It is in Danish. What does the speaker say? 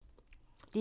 DR1